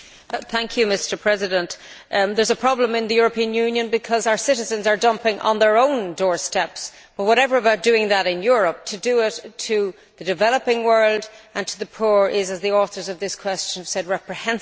Mr President, there is a problem in the European Union because our citizens are dumping on their own doorsteps. To do that in Europe is one thing but to do it to the developing world and to the poor is, as the authors of this question said, reprehensible.